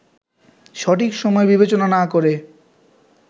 সঠিক সময় বিবেচনা না করে